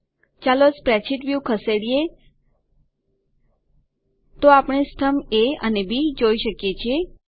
ચાલો spreadsheet view ખસેડીએ તો આપણે સ્તંભ એ અને બી જોઈ શકીએ છીએ